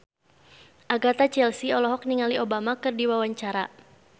Agatha Chelsea olohok ningali Obama keur diwawancara